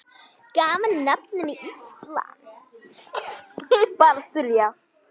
Gaf hann landinu nafnið Ísland.